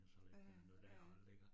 Ja ja, ja ja